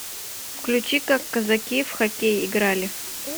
включи как казаки в хоккей играли